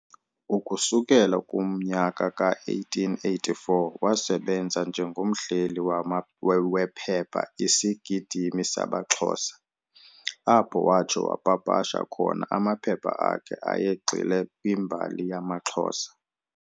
Ukusukela kumnyaka ka-1884 wasebenza njengomhleli wephepha 'Isigidimi samaXhosa', apho watsho wapapasha khona amaphepha akhe ayegxile kwimbali yamaXhosa.